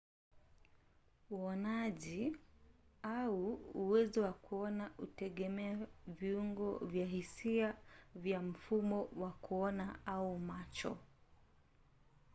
uonaji au uwezo wa kuona hutegemea viungo vya hisia vya mfumo wa kuona au macho